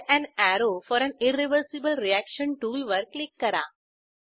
add an arrow for an irreversible reaction टूलवर click करा